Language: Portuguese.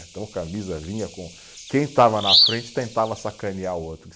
Então, camisa vinha com, quem estava na frente tentava sacanear o outro.